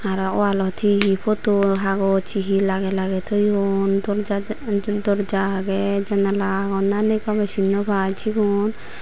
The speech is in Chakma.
aro wall ot he he photo hagoj he he lagey thoyun doorja agey janala agon na ney gome sin now pai sigun.